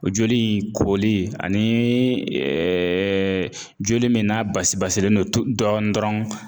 O joli in koli ani joli min n'a basi basilen don dɔɔnin dɔrɔn